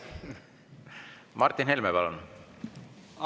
Martin Helme, palun!